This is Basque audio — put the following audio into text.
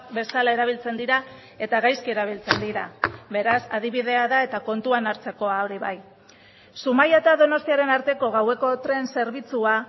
bezala erabiltzen dira eta gaizki erabiltzen dira beraz adibidea da eta kontuan hartzekoa hori bai zumaia eta donostiaren arteko gaueko tren zerbitzua